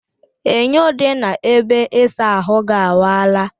Enyo dị na ebe ịsa ahụ ga awaala